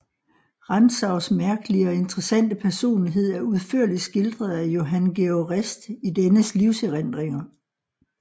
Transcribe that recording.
Rantzaus mærkelige og interessante personlighed er udførlig skildret af Johan Georg Rist i dennes livserindringer